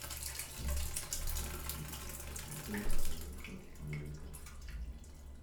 включи исполнителя алеша новиков